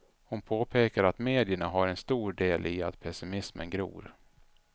Hon påpekade att medierna har en stor del i att pessimismen gror.